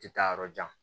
Tɛ taa yɔrɔ jan